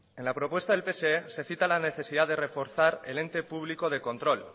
en la propuesta del pse se cita la necesidad de reforzar el ente público de control